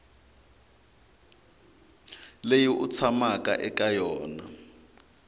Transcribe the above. leyi u tshamaka eka yona